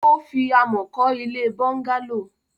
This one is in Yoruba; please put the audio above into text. Ó fi amọ̀ kọ́ ilé bọ́ńgálò.